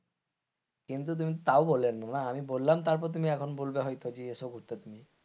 কিন্তু তুমি তো তাও বোলো নি না বলাম তারপর তুমি এখন বলবে হয়তো যে এসো ঘুরতে তুমি,